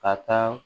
Ka taa